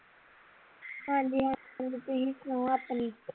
ਹਾਂਜੀ ਹਾਂਜੀ ਹੁਣ ਤੁਸੀ ਸੁਣਾਓ ਆਪਣੀ